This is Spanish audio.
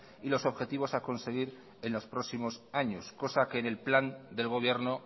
y los objetivos a conseguir en los próximos años cosa que en el plan del gobierno